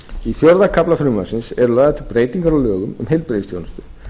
í fjórða kafla frumvarpsins eru lagðar til breytingar á lögum um heilbrigðisþjónustu